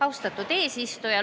Austatud eesistuja!